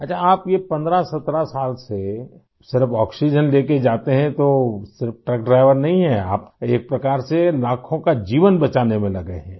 अच्छा आप ये 1517 साल से सिर्फ़ आक्सीजेन लेके जाते हैं तो सिर्फ़ ट्रक ड्राइवर नहीं हैं आप एक प्रकार से लाखों का जीवन बचाने में लगे हैं